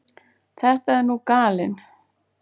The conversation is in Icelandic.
Það er nú gallinn.